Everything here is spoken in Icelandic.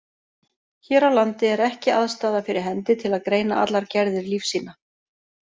Hér á landi er ekki aðstaða fyrir hendi til að greina allar gerðir lífsýna.